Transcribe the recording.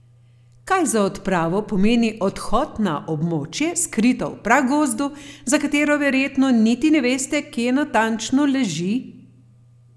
Kaj za odpravo pomeni odhod na območje, skrito v pragozdu, za katero verjetno niti ne veste, kje natančno leži?